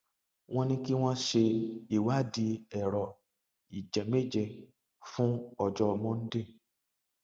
wọn ní kí wọn ṣe ìwádìí ẹrọ ìjẹmẹẹjẹ fún ọjọ monday